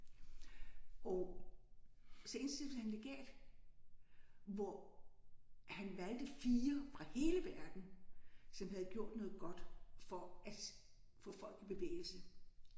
Og så indstillet han legat hvor han valgte 4 fra hele verden som havde gjort noget godt for at få folk i bevægelse